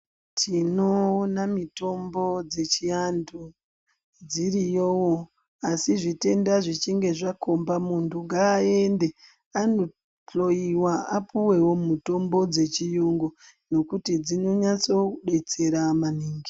Tinoona mitombo dzechiantu dziriyowo asi zvitenda zvichinge zvakhomba muntu ngaayende anohloyiwa apuwewo mutombo dzechiyungu nokuti dzinonyatso kudetsera maningi.